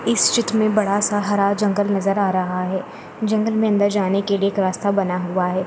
इस चित्र में बड़ा सा हरा जंगल नजर आ रहा है जंगल में अंदर जाने के लिए एक रास्ता बना हुआ है।